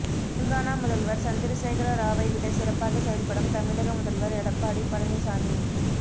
தெலுங்கானா முதல்வர் சந்திரசேகர ராவை விட சிறப்பாக செயல்படும் தமிழக முதல்வர் எடப்பாடி பழனிசாமி